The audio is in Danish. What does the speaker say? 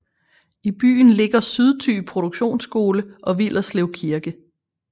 I byen ligger Sydthy Produktionsskole og Villerslev Kirke